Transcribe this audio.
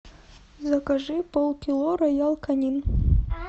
закажи полкило роял канин